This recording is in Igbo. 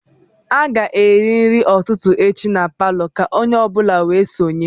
A ga-eri nri ụtụtụ echi na palọ, ka onye ọ bụla wee sonye